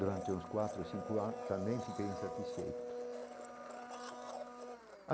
Durante uns quatro ou cinco anos também fiquei insatisfeito